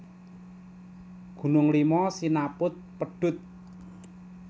Gunung Lima sinaput pedhut